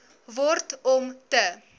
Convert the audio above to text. word om te